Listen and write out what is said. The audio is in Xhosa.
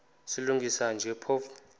silungisa nje phofu